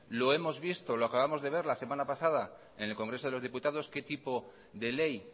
lo acabamos de ver la semana pasada en el congreso de diputados qué tipo de ley